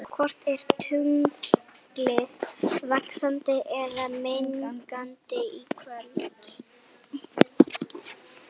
Hvort er tunglið vaxandi eða minnkandi í kvöld?